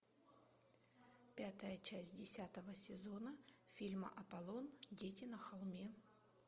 пятая часть десятого сезона фильма аполлон дети на холме